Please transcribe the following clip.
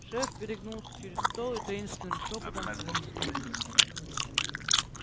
шеф перегнулся через стол и таинственным шёпотом произнёс